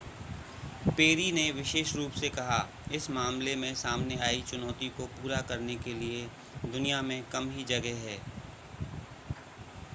peri ने विशेष रूप से कहा इस मामले में सामने आई चुनौती को पूरा करने के लिए दुनिया में कम ही जगह हैं